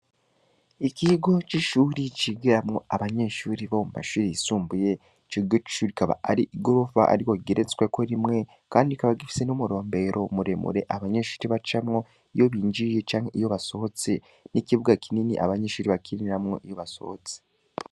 Ikigo c'ishuri, cigiramwo abanyeshuri bo mu mashuri yisumbuye, ico kigo c'ishuri ikaba ari igorofa, ariko igeretsweko rimwe, kandi kikaba gifise n'umurombero muremure, abanyeshuri bacamwo, iyo binjiye canke iyo basohotse, n'ikibuga kinini abanyeshuri bakiniramwo iyo basohotse.